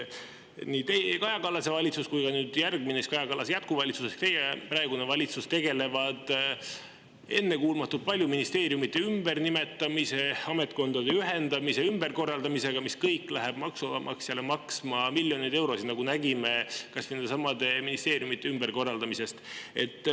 Nii Kaja Kallase valitsus kui ka järgmine, Kaja Kallasele järgnenud jätkuvalitsus ehk siis praegune valitsus on tegelenud ennekuulmatult palju ministeeriumide ümbernimetamise, ametkondade ühendamise ja ümberkorraldamisega, mis kõik läheb maksumaksjale maksma miljoneid eurosid, nagu oleme näinud kas või nendesamade ministeeriumide ümberkorraldamisest.